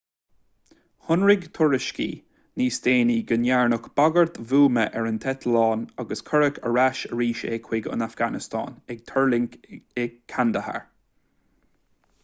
shonraigh tuairiscí níos déanaí go ndearnadh bagairt bhuama ar an eitleán agus cuireadh ar ais arís é chuig an afganastáin ag tuirlingt i kandahar